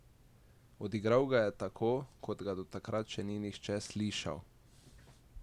Odigral ga je tako, kot ga do takrat še nihče ni slišal!